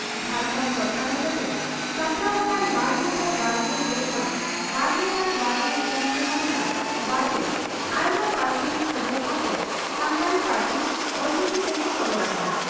ᱡᱷᱟᱲᱠᱷᱚᱱᱰ ᱥᱚᱨᱠᱟᱨ ᱦᱚᱛᱮᱛᱮ ᱥᱟᱯᱲᱟᱣ ᱟᱠᱟᱱ ᱵᱟᱨᱜᱮᱥᱟᱭ ᱵᱟᱨᱜᱮᱞ ᱯᱮ ᱠᱷᱚᱱ ᱵᱟᱨᱜᱮᱥᱟᱭ ᱵᱟᱨᱜᱮᱞ ᱯᱩᱱ ᱥᱮᱨᱢᱟ ᱨᱮᱱᱟᱜ ᱵᱟᱡᱮᱴ ᱟᱭᱢᱟ ᱯᱟᱹᱨᱥᱤᱛᱮ ᱥᱚᱫᱚᱨ ᱥᱟᱣᱛᱮ ᱥᱟᱱᱛᱟᱲᱤ ᱯᱟᱹᱨᱥᱤ (ᱚᱞᱪᱤᱠᱤ) ᱛᱮᱦᱚᱸ ᱥᱚᱫᱚᱨ ᱟᱠᱟᱱᱟ ᱾